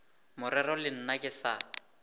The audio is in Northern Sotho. morero le nna ke sa